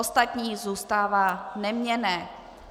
Ostatní zůstává neměnné.